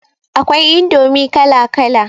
Akwai indomi kala kala